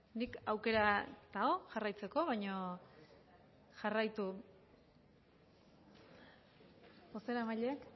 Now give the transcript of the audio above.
aukera dago jarraitzeko baino bozeramaileek